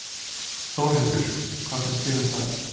Þórhildur: Hvað finnst þér um það?